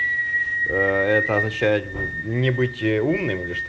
аа это означает не быть умным или чт